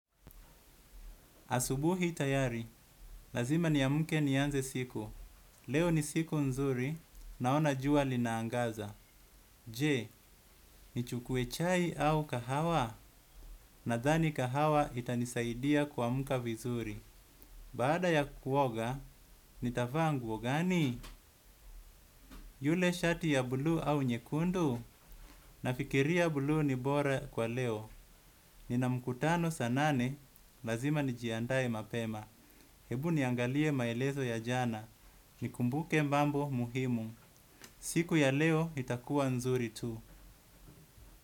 Asubuhi tayari lazima ni amke nianze siku. Leo ni siku nzuri naona jua linaangaza. Je, ni chukue chai au kahawa, na dhani kahawa itanisaidia kuamka vizuri. Baada ya kuoga nitavaa nguo gani yule shati ya bluu au nyekundu. Nafikiria buluu ni bora kwa leo. Nina mkutano saa nane lazima nijiandae mapema. Hebu niangalie maelezo ya jana. Ni kumbuke mambo muhimu. Siku ya leo itakuwa nzuri tu.